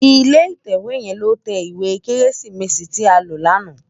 Ilé itèwé yèn ló tè iwé kèmísitìrí ti á ló làná